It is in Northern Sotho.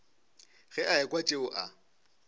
ge a ekwa tšeo a